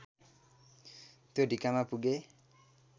त्यो ढिकामा पुगे